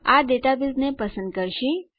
આ ડેટાબેઝને પસંદ કરશે